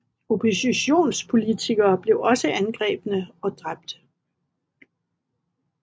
Oppositionspolitikere blev også angrebne og dræbt